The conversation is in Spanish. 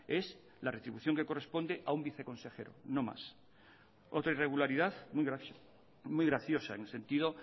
es la retribución que corresponde a un viceconsejero no más otra irregularidad muy graciosa en el sentido